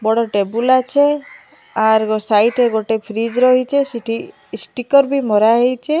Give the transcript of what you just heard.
ବଡ ଟେବୁଲ ଆଛେ ଆର ଗ ସାଇଟ ରେ ଗୋଟେ ଫ୍ରିଜ୍ ରହିଚେ ସେଠି ଇଷ୍ଟିକର୍ ବି ମରା ହେଇଚେ।